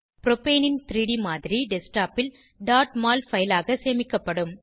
ப்ரோபேனின் 3ட் மாதிரி டெஸ்க்டாப் ல் mol பைல் ஆக சேமிக்கப்படும்